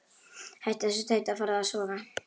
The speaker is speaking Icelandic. Hættu þessu tauti og farðu að sofa.